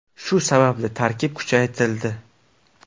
Shu sababli tarkib kuchaytirildi.